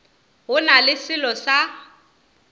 go na le selo sa